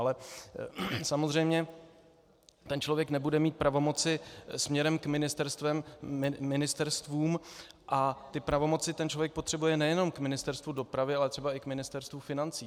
Ale samozřejmě ten člověk nebude mít pravomoci směrem k ministerstvům a ty pravomoci ten člověk potřebuje nejenom k Ministerstvu dopravy, ale třeba i k Ministerstvu financí.